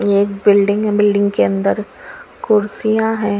एक बिल्डिंग है बिल्डिंग के अंदर कुर्सिया हैं।